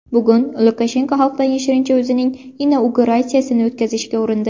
Bugun Lukashenko xalqdan yashirincha o‘zining inauguratsiyasini o‘tkazishga urindi.